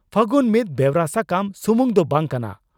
ᱯᱷᱟᱹᱜᱩᱱ ᱢᱤᱫ ᱵᱮᱣᱨᱟ ᱥᱟᱠᱟᱢ ᱥᱩᱢᱩᱝ ᱫᱚ ᱵᱟᱝ ᱠᱟᱱᱟ